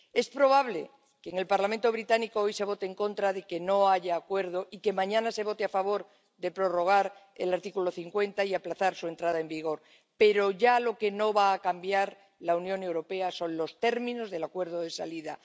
Es probable que en el Parlamento británico hoy se vote en contra de que no haya acuerdo y que mañana se vote a favor de prorrogar el artículo 50 y aplazar su entrada en vigor, pero ya lo que no va a cambiar la Unión Europea son los términos del acuerdo de salida.